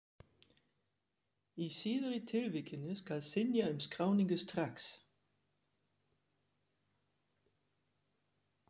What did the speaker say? Í síðari tilvikinu skal synja um skráningu strax.